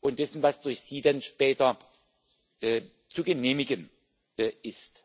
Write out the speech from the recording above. und dessen, was durch Sie dann später zu genehmigen ist.